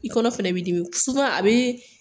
I kɔnɔ fana bɛ i dimi a bɛ